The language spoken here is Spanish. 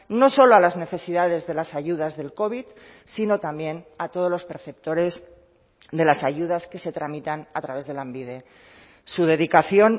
no solo a las necesidades de las ayudas del covid sino también a todos los perceptores de las ayudas que se tramitan a través de lanbide su dedicación